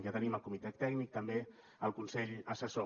ja tenim el comitè tècnic també el consell assessor